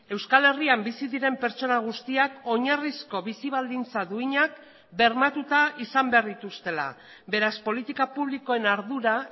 euskal herrian bizi diren pertsona guztiak oinarrizko bizi baldintza duinak bermatuta izan behar dituztela beraz politika publikoen ardura